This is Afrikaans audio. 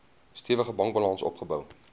stewige bankbalans opgebou